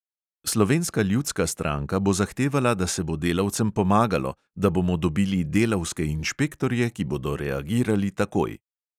Slovenska ljudska stranka bo zahtevala, da se bo delavcem pomagalo, da bomo dobili delavske inšpektorje, ki bodo reagirali takoj.